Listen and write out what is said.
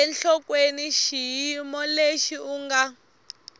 enhlokweni xiyimo lexi u nga